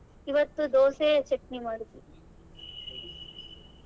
ಇವತ್ತು ದೋಸೆ ಚಟ್ನಿ ಮಾಡಿದ್ವಿ.